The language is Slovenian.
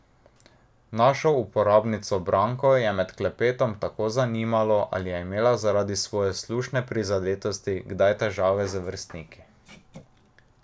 Našo uporabnico Branko je med klepetom tako zanimalo, ali je imela zaradi svoje slušne prizadetosti kdaj težave z vrstniki.